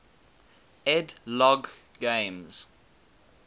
ed logg games